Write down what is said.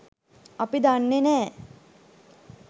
අපි දන්නෙ නැහැ.